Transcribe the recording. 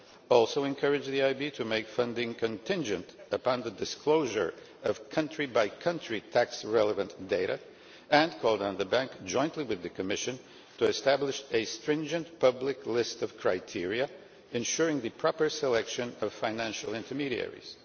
It also encouraged the EIB to make funding contingent upon the disclosure of country by country tax relevant data and called on the Bank, jointly with the Commission, to establish a stringent public list of criteria, ensuring the proper selection of financial intermediaries.